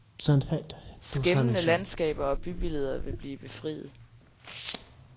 Skæmmede landskaber og bybilleder vil blive befriet.